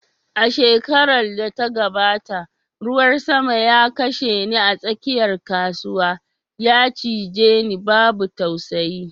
A shekarar da ta gabata, ruwan sama ya kashe ni a tsakiyar kasuwa, ya cije ni babu tausayi